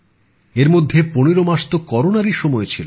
এর মধ্যে ১৫ মাস তো করোনারই সময় ছিল